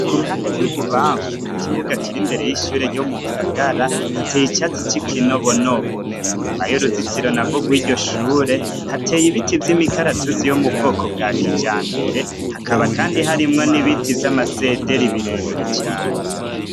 Ku ruhande rw'i bubamfu mu kibuga kiri imbere y'ishure ryo mu ngagara hateye icatsi c'i kinobonobo, inyuma y'uruzitiro na gogw'iryo shure hateye ibiti vy' imikaratusi yo mu bwoko bwa kija mbere, hakaba, kandi harimwo n'ibiti vy'amasederi birebire cane.